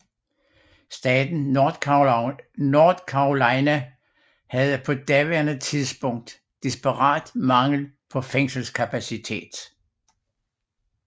Staten North Carolina havde på daværende tidspunkt desperat mangel på fængselskapacitet